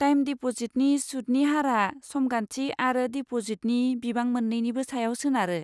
Time डिप'जिटनि सुतनि हारआ समगान्थि आरो डिपजिटनि बिबां मोन्नैनिबो सायाव सोनारो।